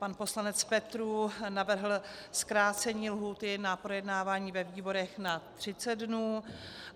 Pan poslanec Petrů navrhl zkrácení lhůty na projednávání ve výborech na 30 dnů.